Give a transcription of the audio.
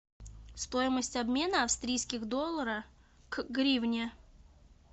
стоимость обмена австрийских доллара к гривне